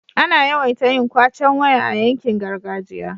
ana yawaita yin kwacen waya a yankin gargajiya